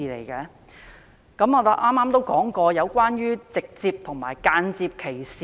究竟如何界定直接和間接歧視？